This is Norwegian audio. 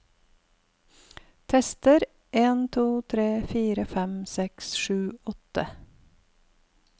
Tester en to tre fire fem seks sju åtte